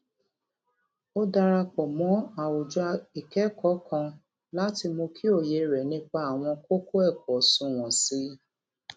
ó darapò mó àwùjọ ìkékòó kan láti mú kí òye rè nípa àwọn kókó èkó sunwòn sí i